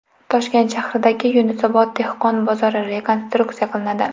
Toshkent shahridagi Yunusobod dehqon bozori rekonstruksiya qilinadi.